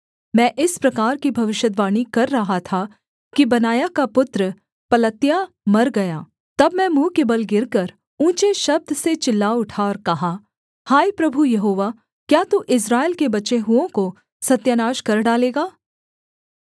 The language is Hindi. मैं इस प्रकार की भविष्यद्वाणी कर रहा था कि बनायाह का पुत्र पलत्याह मर गया तब मैं मुँह के बल गिरकर ऊँचे शब्द से चिल्ला उठा और कहा हाय प्रभु यहोवा क्या तू इस्राएल के बचे हुओं को सत्यानाश कर डालेगा